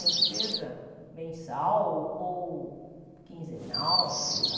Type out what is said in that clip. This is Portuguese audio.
Nem que seja mensal ou quinzenal, sei lá.